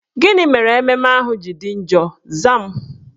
Gịnị mere ememme ahụ ji dị njọ? Zaa m!